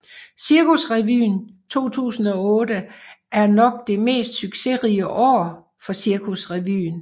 Cirkusrevyen 2008 er nok det mest succesrige år for Cirkusrevyen